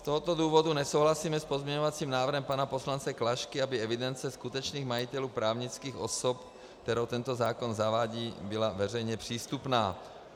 Z tohoto důvodu nesouhlasíme s pozměňovacím návrhem pana poslance Klašky, aby evidence skutečných majitelů, právnických osob, kterou tento zákon zavádí, byla veřejně přístupná.